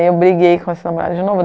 eu briguei com o Samuel de novo.